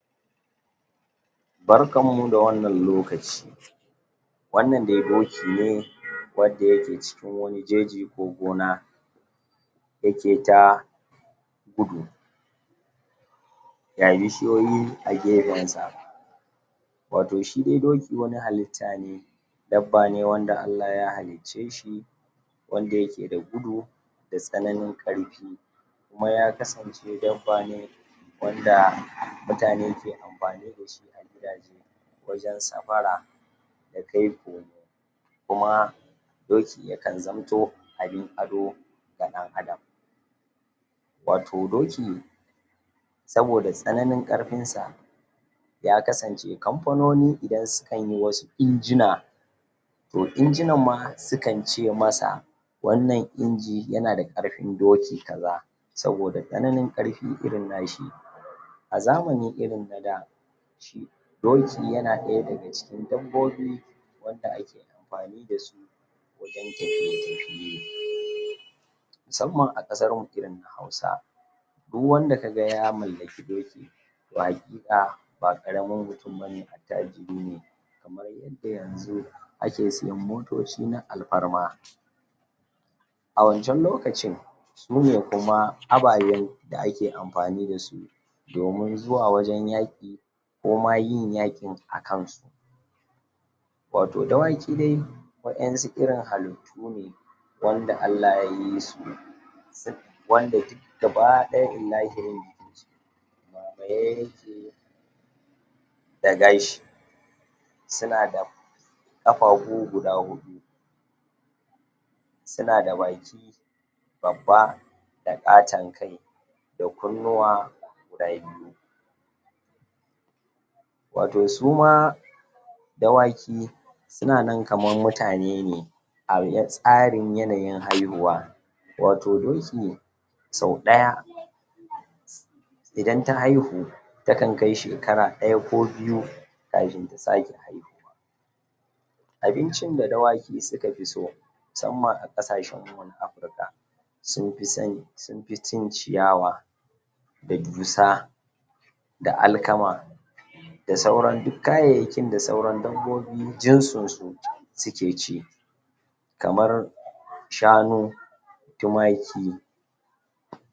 Barkanmu da wannan lokaci wannan dai doki ne wadda yeke cikin wani jeji ko gona yake ta gudu ya yishiyoyi a gefensa wato shi dai doki wani halitta ne dabba ne wanda Allah ya halicce shi wanda yake da gudu da tsananin ƙarfi kuma ya kasance dabba ne wanda mutane ke amfani dashi a gidaje wajen safara da kai komo kuma doki yakan zamto abin ado ga ɗan adam wato doki saboda tsananin ƙarfin sa ya kasance kamfanoni idan sukanyi wasu injina to injinan ma sukan ce masa wannan inji yanada ƙarfin doki kaza saboda tsananin ƙarfi irin nashi a zamani irin na da doki yana ɗaya daga cikin dabbobi wanda ake amfani dasu wajen tafiye-tafiye musamman a ƙasarmu irin na hausa duk wanda kaga ya mallaki doki to haƙiƙa ba ƙaramin mutum bane, attajiri ne kamar yadda yanzu ake siyan motoci na alfarma a wancan lokacin sune kuma abayen da ake amfani dasu domin zuwa wajen yaƙi koma yin yaƙin akansu wato dawaki dai waƴansu irin halittu ne wanda Allah yayi su s? wanda duk gaba ɗaya ilahirin jikinsu a zagaye yake da gashi suna da ƙafafu guda huɗu suna da baki babba da ƙaton kai da kunnuwa guda biyu wato suma dawaki sunanan kaman mutane ne a? tsarin yanayin haihuwa wato doki sau ɗaya idan ta haihu takan kai shekara ɗaya ko biyu kafin ta sake haihuwa abincin da dawaki suka fi so musamman a ƙasashenmu na Afrika sunfi son sunfi cin ciyawa da dusa da alkama da sauran duk kayayyakin da sauran dabbobi jinsinsu suke ci kamar shanu tumaki